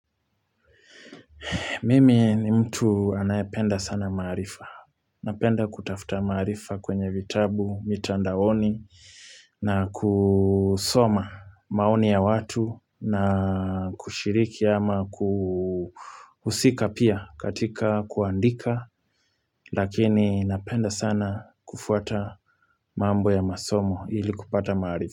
Mimi ni mtu anayependa sana maarifa. Napenda kutafta maarifa kwenye vitabu, mitandaoni na kusoma maoni ya watu na kushiriki ama kuhusika pia katika kuandika. Lakini napenda sana kufuata mambo ya masomo ili kupata maarifa.